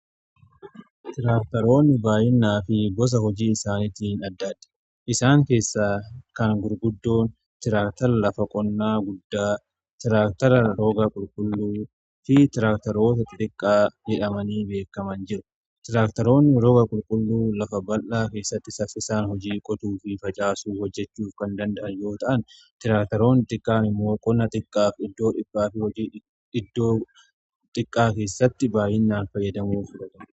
Tiraaktaroonni baay'inaa fi gosa hojii isaaniitiin addaadha. Isaan keessa kan gurguddoon tiraaktara lafa qonnaa guddaa tiraaktara rooga qulqulluu fi tiraaktaroota xiqqaa jedhamanii beekaman jiru. Tiraaktaroonni rooga qulqulluu lafa bal'aa keessatti saffiisaan hojii qotuu fi facaasuu hojjechuuf kan danda’an yoo ta'an tiraaktaroonn xiqqaani moo qonaa xiqqaaf iddoo dhiphaa fi hojii iddoo xiqqaa keessatti baay'inaan fayyadamu.